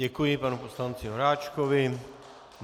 Děkuji panu poslanci Horáčkovi.